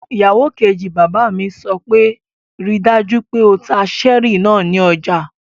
Ìyàwó kejì bàbá mi sọ pé 'ríi dájú pé o ta cherry náà ní ọjà!